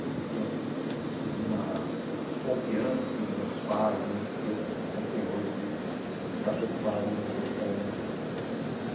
Existia uma confiança assim dos nossos pais, não existia essa situação que tem hoje de de ficar preocupado em as crianças ficarem na rua.